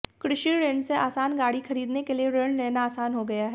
कृषि ऋण से आसान गाड़ी खरीदने के लिए ऋण लेना आसान हो गया है